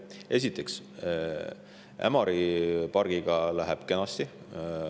Esiteks, Ämari pargiga läheb kenasti.